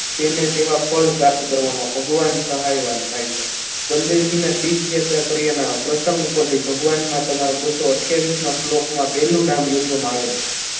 ફલ પ્રાપ્ત કરવામાં ભગવાન સહાયવાન થાય છે બલદેવજી ને તીર્થયાત્રા કર્યાના પ્રસંગ ઉપરથી ભગવાનમાં તમારું ગુસ્સો અથીયાવિસમાં માં શ્લોકમાં પહેલું નામ યોજવામાં આવેલું છે.